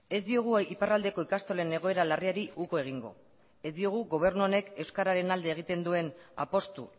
ez diogu iparraldeko ikastolen egoera larriari uko egingo ez diogu gobernu honek euskararen alde egiten duen apustu